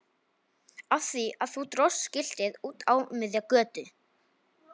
Af því að þú dróst skiltið út á miðja götu!